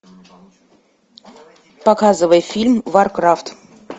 показывай фильм варкрафт